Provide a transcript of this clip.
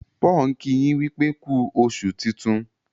Paul nki yin wípé ku oṣù tintun.